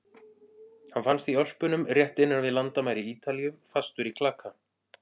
Hann fannst í Ölpunum rétt innan við landamæri Ítalíu, fastur í klaka.